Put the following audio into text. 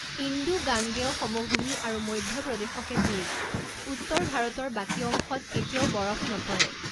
Indo গাঙ্গেয় সমভূমি আৰু মধ্য প্ৰদেশকে ধৰি উত্তৰ ভাৰতৰ বাকী অংশত কেতিয়াও বৰফ নপৰে।